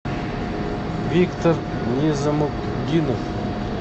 виктор незамутдинов